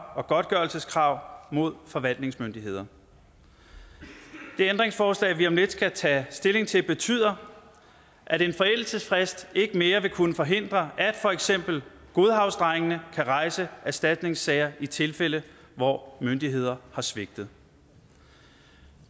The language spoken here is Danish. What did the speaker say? og godtgørelseskrav mod forvaltningsmyndigheder det ændringsforslag vi om lidt skal tage stilling til betyder at en forældelsesfrist ikke mere vil kunne forhindre at for eksempel godhavnsdrengene kan rejse erstatningssager i tilfælde hvor myndigheder har svigtet